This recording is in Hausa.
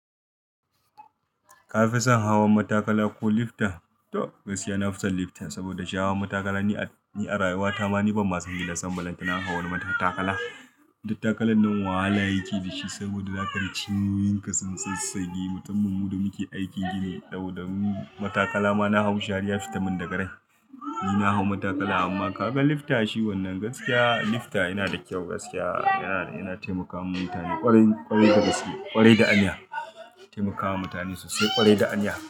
Ka fi son hawan matakala ko lifta? To gaskiya na fi son lifta saboda shi hawan matakala ni a rayuwata ma ni ban masu hira sambalanta na hawa matakala. Dan takalan nan wahala yake da shi saboda za kaji cinyoyin ka sun sassage. Mutuman mu da muke aikin gini dau-da mu matakala ma na hau shi har ya fita min daga rai. Ni na hau matakala amma ka ga lifta shi wannan gaskiya lifta yana da kyau gaskiya. Yana taimakawa mutane ƙwarai, ƙwarai gaskiya ƙwarai da aniya. Taimakawa mutane sosai ƙwarai da aniya.